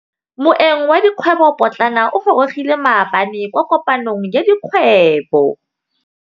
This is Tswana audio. Moêng wa dikgwêbô pôtlana o gorogile maabane kwa kopanong ya dikgwêbô.